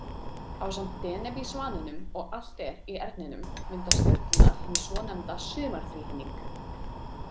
Ásamt Deneb í Svaninum og Altair í Erninum mynda stjörnurnar hinn svonefnda „Sumarþríhyrning“.